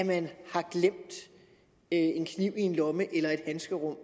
man har glemt en kniv i en lomme eller i et handskerum